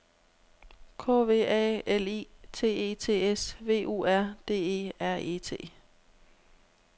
K V A L I T E T S V U R D E R E T